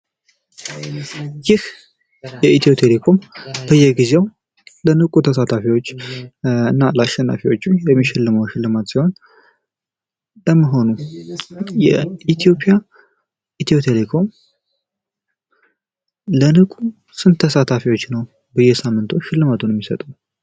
ይህ በኢትዮቴሌኮም በየጊዜው ለንቁ ተሳታፊዎች እና ለአሸናፊዎቹ የሚሸልመው ሽልማት ሲሆን ለመሆኑ የኢትዮጵያ ኢትዮቴሌኮም ለንቁ ስንት ተሳታፊዎች ነው በየሳምንቱ ሽልማት የሚሰጠው?